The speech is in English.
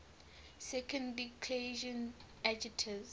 second declension adjectives